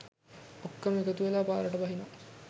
ඔක්කොම එකතුවෙලා පාරට බහිනවා.